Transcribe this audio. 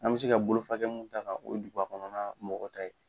An bɛ se ka bolofakɛ mun ta kan o ye duguba kɔnɔna na mɔgɔ ta ye.